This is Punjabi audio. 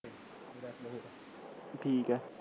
ਠੀਕ ਹੈ